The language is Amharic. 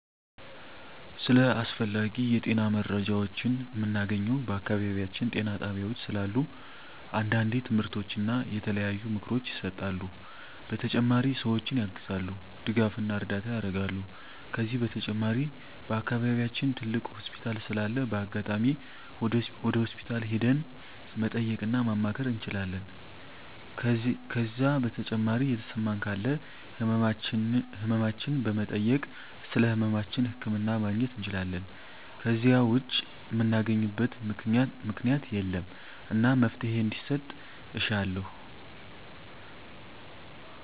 ስለ አስፈላጊ የጤና መረጃዎችን ምናገኘው በአካባቢያችን ጤና ጣቤያዎች ስላሉ አንዳንዴ ትምህርቶች እና የተለያዩ ምክሮች ይሰጣሉ በተጨማሪ ሰዎችን ያግዛሉ ድጋፍና እርዳታ ያረጋሉ ከዚህ በተጨማሪ በአከባቢያችን ትልቅ ሆስፒታል ስላለ በአጋጣሚ ወደ ሆስፒታል ሄደን መጠየቅ እና ማማከር እንችላለን ከዜ በተጨማሪ የተሰማን ካለ ህመማችን በመጠየክ ስለህመማችን ህክምና ማግኘት እንችላለን ከዜ ውጭ ምናገኝበት ምክኛት የለም እና መፍትሔ እንዲሰጥ እሻለሁ